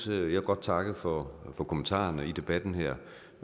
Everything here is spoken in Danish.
vil godt takke for kommentarerne i debatten her